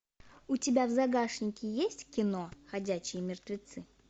у тебя в загашнике есть кино ходячие мертвецы